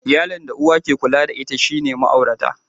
Iyalin da uwa ke kula da ita shine ma'aurata.